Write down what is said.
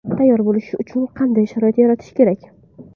Tayyor bo‘lishi uchun qanday sharoit yaratish kerak?